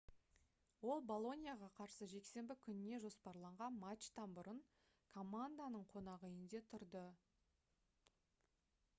ол болоньяға қарсы жексенбі күніне жоспарланған матчтан бұрын команданың қонақүйінде тұрды